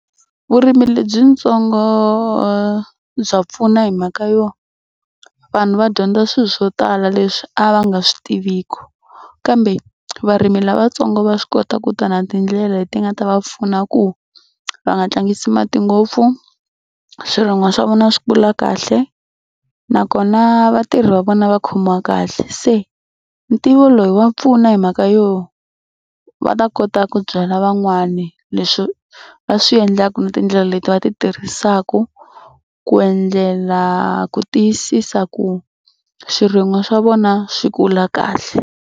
Vurimi lebyitsongo bya pfuna hi mhaka yo vanhu va dyondza swilo swo tala leswi a va nga swi tiviki kambe varimi lavatsongo va swi kota ku ta na tindlela leti nga ta va pfuna ku va nga tlangisi mati ngopfu swirin'wa swa vona swi kula kahle nakona vatirhi va vona va khomiwa kahle. Se ntivo loyi wa pfuna hi mhaka yo va ta kota ku byela van'wani leswi va swi endlaka na tindlela leti va ti tirhisaka ku endlela ku tiyisisa ku swirin'wiwa swa vona swi kula kahle.